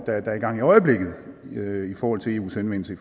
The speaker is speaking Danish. der er i gang i øjeblikket i forhold til eus henvendelse